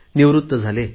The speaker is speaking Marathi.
निवृत्त झाले